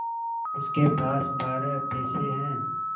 उसके पास बारह पैसे हैं